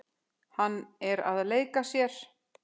Hann er að leika sér.